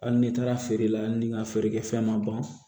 Hali n'i taara feere la ni n ka feerekɛfɛn ma ban